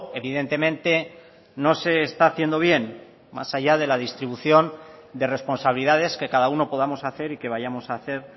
evidentemente no se está haciendo bien más allá de la distribución de responsabilidades que cada uno podamos hacer y que vayamos a hacer